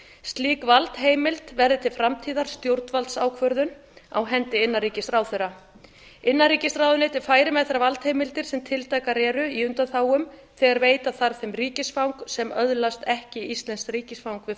slík valdheimild verði til framtíðar stjórnvaldsákvörðun á hendi innanríkisráðherra innanríkisráðuneytið færi með þær valdheimildir sem tiltækar eru í undanþágum þegar veita þarf þeim ríkisfang sem öðlast ekki íslenskt ríkisfang við